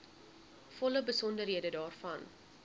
volle besonderhede daarvan